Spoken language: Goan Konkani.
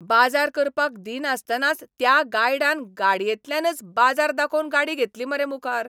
बाजार करपाक दिनासतनाच त्या गायडान गाडयेंतल्यानच बाजार दाखोवन गाडी घेतली मरे मुखार.